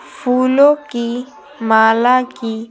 फूलों की माला की--